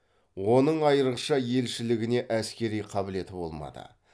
оның айырықша елшілігіне әскери қабілеті болмады